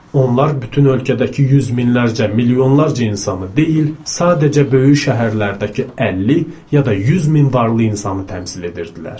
Onlar bütün ölkədəki yüz minlərcə, milyonlarca insanı deyil, sadəcə böyük şəhərlərdəki 50 ya da 100 min varlı insanı təmsil edirdilər.